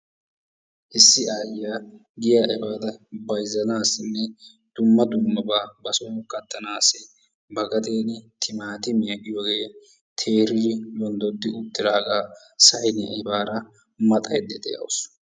Issi aayyiya giyaa efaada bayizzanaassinne dumma dummabaa ba son kattanaassi ba gaden timatimiya giyogee teeridi yonddoddi uttaagaa sayiniya efaada maxayidda dawusu.